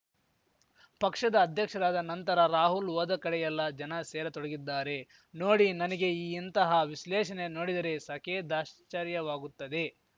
ಪಕ್ಷದ ಅಧ್ಯಕ್ಷರಾದ ನಂತರ ರಾಹುಲ್‌ ಹೋದಕಡೆಯೆಲ್ಲ ಜನ ಸೇರತೊಡಗಿದ್ದಾರೆ ನೋಡಿ ನನಗೆ ಈ ಇಂತಹ ವಿಶ್ಲೇಷಣೆ ನೋಡಿದರೆ ಸಖೇದಾಶ್ಚರ್ಯವಾಗುತ್ತದೆ